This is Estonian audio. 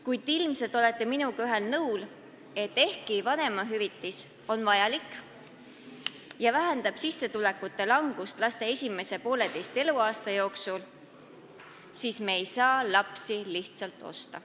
Kuid ilmselt olete minuga ühel nõul, et ehkki vanemahüvitis on vajalik ja vähendab sissetulekute langust lapse esimese poolteise eluaasta jooksul, ei saa me lapsi lihtsalt osta.